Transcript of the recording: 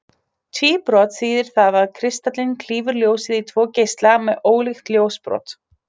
Tvíbrot þýðir það að kristallinn klýfur ljósið í tvo geisla með ólíkt ljósbrot.